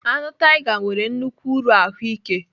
Anụ tiger nwere nnukwu uru ahụike